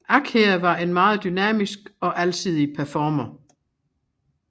Akher var en meget dynamisk og alsidig performer